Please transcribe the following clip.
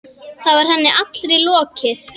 Þá var henni allri lokið.